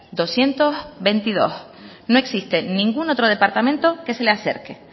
doscientos veintidós no existe ningún otro departamento que se le acerque